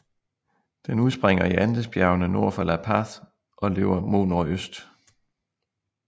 Den udspringer i Andesbjergene nord for La Paz og løber mod nordøst